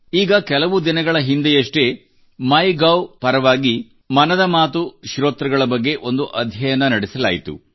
ಈಗ ಕೆಲವು ದಿನಗಳ ಹಿಂದೆಯಷ್ಟೇ ಮೈ ಗೌ ಪರವಾಗಿ ಮನದ ಮಾತು ಶ್ರೋತೃಗಳ ಬಗ್ಗೆ ಒಂದು ಅಧ್ಯಯನ ನಡೆಸಲಾಯಿತು